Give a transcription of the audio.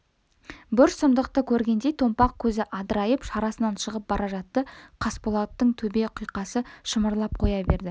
бір сұмдықты көргендей томпақ көзі адырайып шарасынан шығып бара жатты қасболаттың төбе құйқасы шымырлап қоя берді